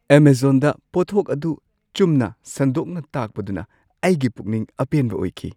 ꯑꯦꯃꯖꯣꯟꯗ ꯄꯣꯠꯊꯣꯛ ꯑꯗꯨ ꯆꯨꯝꯅ ꯁꯟꯗꯣꯛꯅ ꯇꯥꯛꯄꯗꯨꯅ ꯑꯩꯒꯤ ꯄꯨꯛꯅꯤꯡ ꯑꯄꯦꯟꯕ ꯑꯣꯏꯈꯤ ꯫